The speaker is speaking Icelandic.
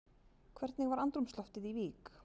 Hvernig var andrúmsloftið í Vík?